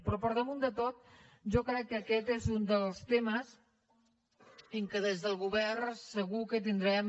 però per damunt de tot jo crec que aquest és un dels temes en què des del govern segur que tindrem